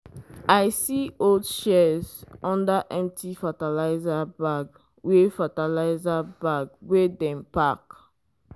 i see old shears under empty fertilizer bag wey fertilizer bag wey dem pack.